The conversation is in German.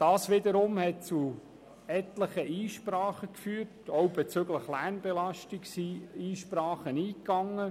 Das hat zu etlichen Einsprachen geführt, und auch bezüglich Lärmbelastung sind Einsprachen eingegangen.